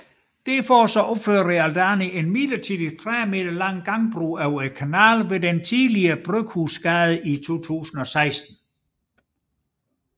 Derfor opførte Realdania en midlertidig 30 m lang gangbro over kanalen ved den tidligere Bryghusgade i 2016